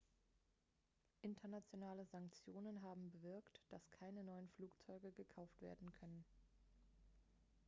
internationale sanktionen haben bewirkt dass keine neuen flugzeuge gekauft werden können